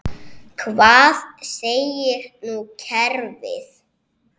Hvað segir nú kerfið?